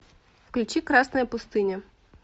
включи красная пустыня